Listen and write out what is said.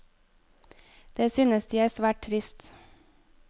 Det synes de er svært trist.